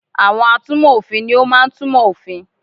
Àwon atúnmọ̀ òfin ni o máa n túnmo òfin